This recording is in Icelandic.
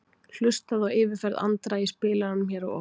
Hlustaðu á yfirferð Andra í spilaranum hér að ofan.